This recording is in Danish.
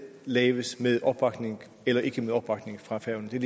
laves med opbakning eller ikke med opbakning fra færøerne